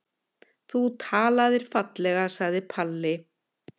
Þú talaðir fallega, sagði Palli.